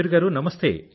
మయూర్ గారూ